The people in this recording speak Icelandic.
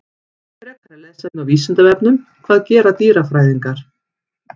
Frekara lesefni á Vísindavefnum: Hvað gera dýrafræðingar?